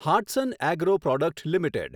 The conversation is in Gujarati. Hatsun agro product limited